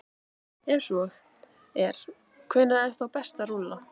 Ef svo er, hvenær er þá best að rúlla?